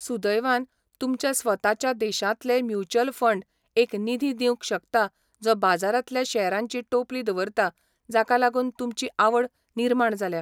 सुदैवान, तुमच्या स्वताच्या देशांतले म्युच्युअल फंड एक निधी दिवंक शकता जो बाजारांतल्या शेअरांची टोपली दवरता जाका लागून तुमची आवड निर्माण जाल्या.